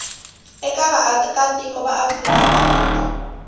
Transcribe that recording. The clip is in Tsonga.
eka vaakatiko va afrika dzonga